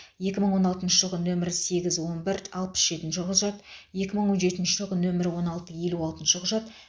екі мың он алтыншы жылғы нөмірі сегіз он бір алпыс жетінші құжат екі мың он жетінші жылғы нөмірі он алты елу алтыншы құжат